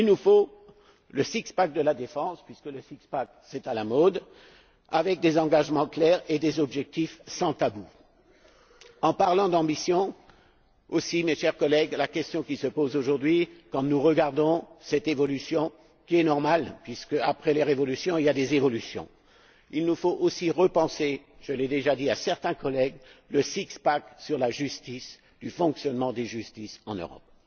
Il nous faut le six pack de la défense, puisque le six pack c'est à la mode, avec des engagements clairs et des objectifs sans tabou. En parlant d'ambition, aussi, chers collègues, la question qui se pose aujourd'hui quand nous regardons cette évolution, qui est normale, puisqu'après les révolutions, il y a des évolutions, il nous faut aussi repenser je l'ai déjà dit à certains collègues le six pack sur la justice, le fonctionnement des justices en Europe.